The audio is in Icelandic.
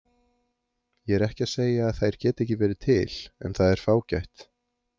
Ég er ekki að segja að þær geti ekki verið til en það er fágætt.